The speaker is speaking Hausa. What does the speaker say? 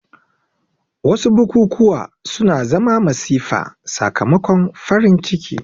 Wasu bukukuwa suna zama masifa sakamakon farin ciki